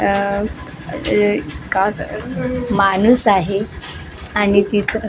आह ए का ज माणूस आहे तिथं स्टील --